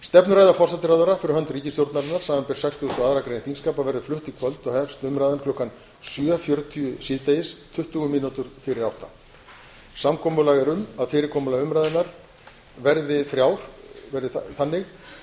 stefnuræða forsætisráðherra fyrir hönd ríkisstjórnarinnar samanber sextugustu og aðra grein þingskapa verður flutt í kvöld og hefst umræðan klukkan nítján fjörutíu samkomulag er um að fyrirkomulag umræðunnar verði þannig að